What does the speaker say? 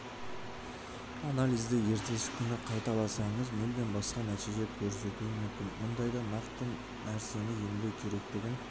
анализді ертесі күні қайталасаңыз мүлдем басқа нәтиже көрсетуі мүмкін мұндайда нақты нәрсені емдеу керектігін